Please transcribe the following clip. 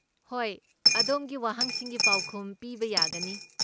ꯍꯣꯏ, ꯑꯗꯣꯝꯒꯤ ꯋꯥꯍꯪꯁꯤꯡꯒꯤ ꯄꯥꯎꯈꯨꯝ ꯄꯤꯕ ꯌꯥꯒꯅꯤ꯫